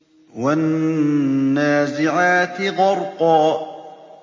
وَالنَّازِعَاتِ غَرْقًا